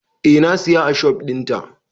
Eh na siya ashobin ta.